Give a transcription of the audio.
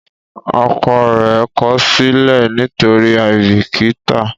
ọkọ rẹ kosile nitori aibikita.